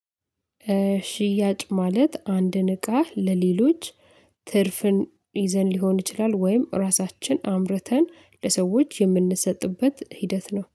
ሽያጭ ማለት አንድን እቃ ለሌሎች ትርፍን ይዘን ሊሆን ይችላል ወይም ራሳችን አምርተን ለሰዎች የምንሰጥበት ሂደት ነው